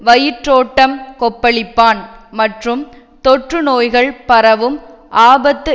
வயிற்றோட்டம் கொப்பளிப்பான் மற்றும் தொற்று நோய்கள் பரவும் ஆபத்து